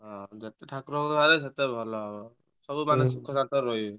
ହଁ ଯେତେ ଠାକୁର ଭକ୍ତ ବାହାରିବେ ସେତେ ଭଲ ହବ। ସବୁ ମାନେ ସୁଖ ଶାନ୍ତିରେ ରହିବେ।